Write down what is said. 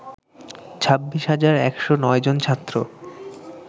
২৬ হাজার ১০৯ জন ছাত্র